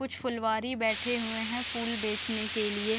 कुछ फूलवारी बैठे हुए है फूल बेचने के लिए।